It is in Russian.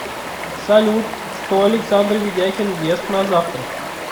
салют что александр ведяхин ест на завтрак